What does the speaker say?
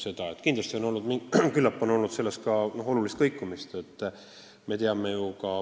Samas on küllap olnud ka päris suurt kõikumist.